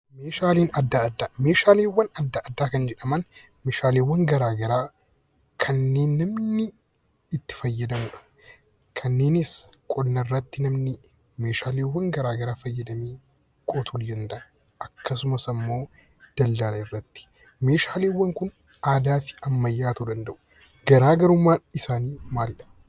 Meeshaalee adda addaa Meeshaaleewwan adda addaa kan jedhaman, meeshaaleewwan gara garaa kanneen namni itti fayyadamu dha. Kanneenis qonna irratti namni meeshaaleewwan gara garaa fayyadamee qotuu ni danda'a.; akkasumas ammoo daldala irratti. Meeshaaleewwan kun aadaa fi ammayyaa ta'uu danda'u. Garaa garummaan isaanii maali dha?